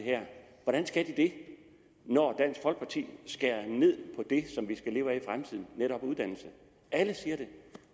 hvordan skal de det når dansk folkeparti skærer ned på det som vi skal leve af i fremtiden netop uddannelse alle siger det